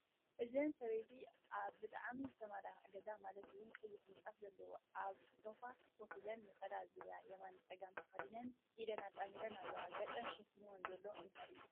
እዘን ሰበይቲ ኣብ ብጣዕሚ ዝተመላከዐ ገዛ ማለት እውን ቀይሕ ምንፃፍ ዘለዎ ኣብ ሶፋ ኮፍ ኢለን ነፀላ ዙርያ የመንን ፀገማን ተኸዲነን ኢደን ኣጣሚረን ኣለዋ፡፡ ገፀን ሸፊንወን ዘሎ እንታይ እዩ?